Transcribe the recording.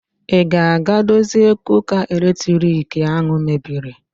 Ị ga-aga dozie kuka eletriki ahụ mebiri?